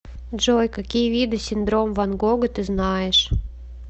джой какие виды синдром ван гога ты знаешь